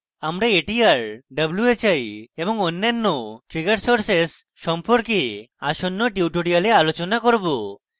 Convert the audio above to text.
আমরা atr whi এবং অন্যান্য trigger sources সম্পর্কে আসন্ন tutorials আলোচনা করব